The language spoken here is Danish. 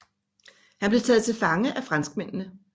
Han blev taget til fange af franskmændene